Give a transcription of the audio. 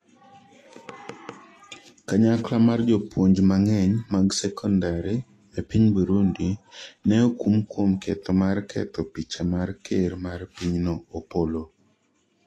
kanyakla mar jopuonj mang'eny mag sekondari e piny Burundi ne okum kuom ketho mar ketho picha mar ker mar pinyno Opollo